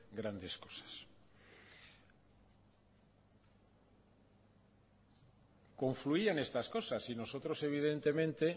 grandes cosas confluían estas cosas y nosotros evidentemente